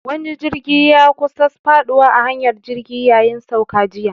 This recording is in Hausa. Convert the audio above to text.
Wani jirgi ya kusa faduwa a hanyar jirgi yayin sauka jiya.